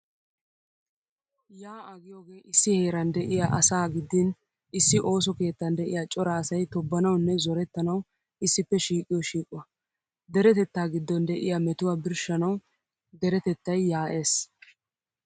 Yaa"aa giyogee issi heeraan de'iyaa asaa gidin issi ooso keettan de'iyaa cora asay tobbanawunne zorettanawu issippe shiiqiyo shiiquwaa. Deretettaa giddon de'iyaa metuwaa birshshanawu deretettay yaa"ees.